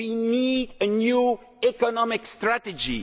We need a new economic strategy.